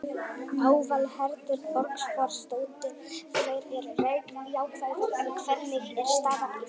Aðalheiður Borgþórsdóttir: Þeir eru jákvæðir, en hvernig er staðan í þjóðfélaginu?